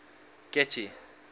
getty